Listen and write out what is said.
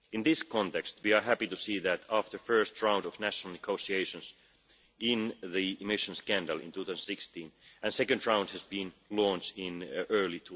In this context, we are happy to see that, after the first round of national negotiations in the emissions scandal in 2016, a second round was launched in early